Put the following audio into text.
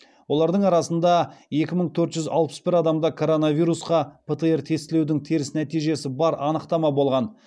олардың арасында екі мың төрт жүз алпыс бір адамда коронавирусқа птр тестілеудің теріс нәтижесі бар анықтама болған